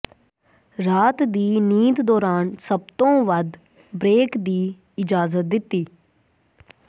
ਰਾਤ ਦੀ ਨੀਂਦ ਦੌਰਾਨ ਸਭ ਤੋਂ ਵੱਧ ਬ੍ਰੇਕ ਦੀ ਇਜਾਜ਼ਤ ਦਿੱਤੀ